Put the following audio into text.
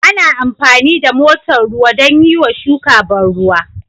Ana amfani da motar ruwa don yiwa shuka ban ruwa